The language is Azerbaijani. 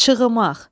Şığımaq.